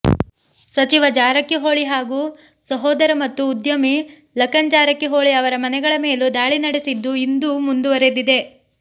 ಸಚಿವ ಜಾರಕಿಹೊಳಿ ಹಾಗೂ ಸಹೋದರ ಮತ್ತು ಉದ್ಯಮಿ ಲಖನ್ ಜಾರಕಿಹೊಳಿ ಅವರ ಮನೆಗಳ ಮೇಲೂ ದಾಳಿ ನಡೆಸಿದ್ದು ಇಂದೂ ಮುಂದುವರೆದಿದೆ